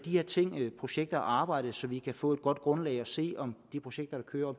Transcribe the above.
her ting og projekter arbejde så vi kan få et godt grundlag for at se om de projekter der kører